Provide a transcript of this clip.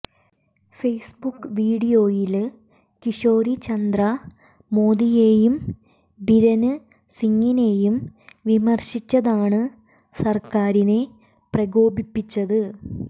Facebook വീഡിയോയില് കിഷോരിചന്ദ്ര മോദിയേയും ബിരേന് സിംഗിനേയും വിമര്ശിച്ചതാണ് സര്ക്കാരിനെ പ്രകോപിപ്പിച്ചത്